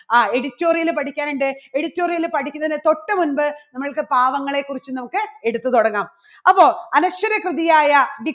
ആ editorial പഠിക്കാൻ ഉണ്ട്. editorial പഠിക്കുന്നതിന് തൊട്ട് മുൻപ് നമ്മൾക്ക് പാവങ്ങളെക്കുറിച്ച് നമ്മുക്ക് എടുത്തു തുടങ്ങാം അപ്പോൾ അനശ്വര കൃതിയായ